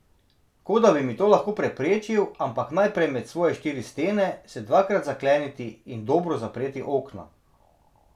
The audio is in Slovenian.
Kot da bi mi to lahko preprečil, ampak najprej med svoje štiri stene, se dvakrat zakleniti in dobro zapreti okna.